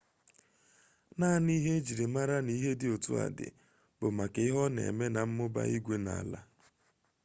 naanị ihe e ji mara na ihe dị otu a dị bụ maka ihe ọ na-eme na mmụba igwe na ala.